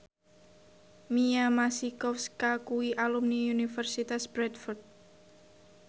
Mia Masikowska kuwi alumni Universitas Bradford